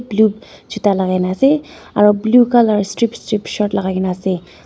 blue juta lakaina ase aro blue colour strip strip shirt lakai na ase.